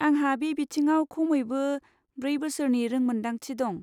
आंहा बे बिथिङाव खमैबो ब्रै बोसोरनि रोंमोनदांथि दं।